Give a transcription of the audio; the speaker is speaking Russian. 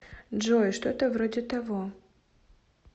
джой что то вроде того